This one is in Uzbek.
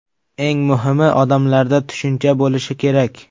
Eng muhimi odamlarda tushuncha bo‘lishi kerak.